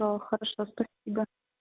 хорошо спасибо